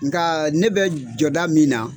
Nka ne bɛ jɔda min na